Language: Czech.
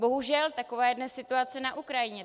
Bohužel, taková je dnes situace na Ukrajině.